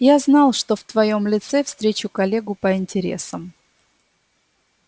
я знал что в твоём лице встречу коллегу по интересам